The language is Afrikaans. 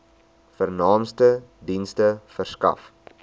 vernaamste dienste verskaf